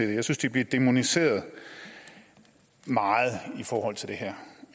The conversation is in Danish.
og jeg synes de bliver dæmoniseret meget i forhold til det her